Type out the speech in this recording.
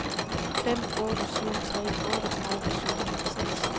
fem otte syv tre otteogtredive syv hundrede og seks